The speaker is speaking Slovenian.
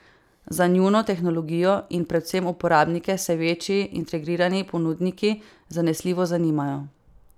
Za njuno tehnologijo in predvsem uporabnike se večji, integrirani ponudniki zanesljivo zanimajo.